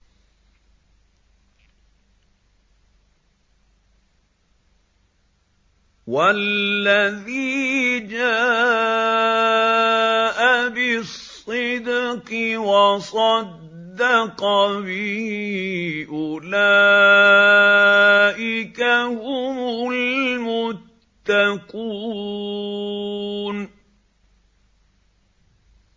وَالَّذِي جَاءَ بِالصِّدْقِ وَصَدَّقَ بِهِ ۙ أُولَٰئِكَ هُمُ الْمُتَّقُونَ